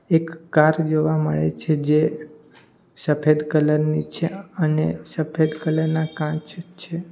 એક કાર જોવા મળે છે જે સફેદ કલર ની છે અને સફેદ કલર ના કાચ છે.